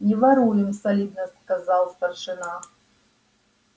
не воруем солидно сказал старшина